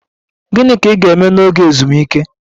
Gịnị ka ị ga-eme n'oge ezumike?